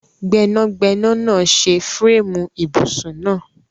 Gbẹnagbẹna naa ṣe fireemu ibusun naa